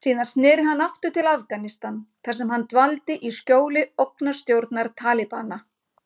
Síðar sneri hann aftur til Afganistan þar sem hann dvaldi í skjóli ógnarstjórnar Talibana.